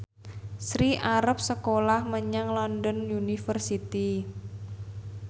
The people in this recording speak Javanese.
Sri arep sekolah menyang London University